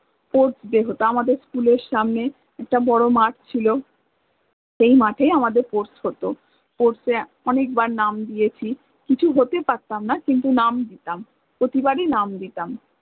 sportsday হত আমাদের school এর সামনে একটা বড় মাঠ ছিল সেই মাঠ এ আমাদের sports হত sports এ অনেকবার নাম দিয়েছি, কিছু হতে পারতাম না কিন্তু নাম দিতাম, প্রতিবারি নাম দিতাম